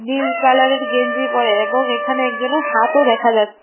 নীল কালারের গেঞ্জি পরে এবং এখানে একজনের হাতও দেখা যা--